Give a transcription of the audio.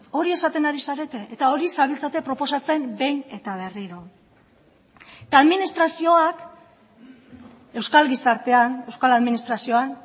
hori esaten ari zarete eta hori zabiltzate proposatzen behin eta berriro eta administrazioak euskal gizartean euskal administrazioan